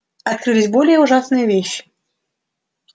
открылись более ужасные вещи